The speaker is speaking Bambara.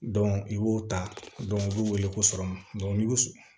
i b'o ta u b'u wele ko n'i y'u